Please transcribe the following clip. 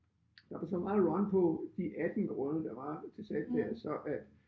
Da der så var run på de 18 grunde der var til salg der så øh